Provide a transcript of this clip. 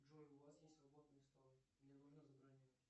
джой у вас есть свободные столы мне нужно забронировать